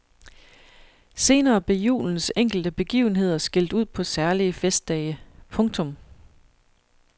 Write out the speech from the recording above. Senere blev julens enkelte begivenheder skilt ud på særlige festdage. punktum